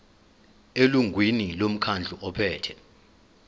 elungwini lomkhandlu ophethe